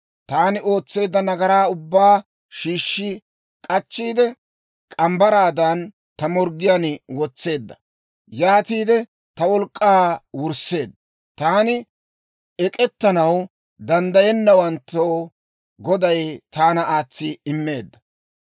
Taani ootseedda nagaraa ubbaa shiishshi k'achchiide, morgge mitsaadan ta morggiyaan wotseedda. Yaatiide ta wolk'k'aa wursseedda. Taani ek'ettanaw danddayennawanttoo Goday taana aatsi immeedda.